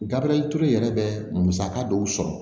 Gabriyɛri ture yɛrɛ bɛ musaka dɔw sɔrɔ